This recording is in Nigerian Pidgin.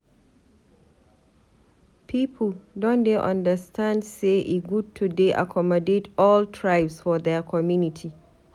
Pipu don dey understand sey e good to dey accommodate all tribes for their community.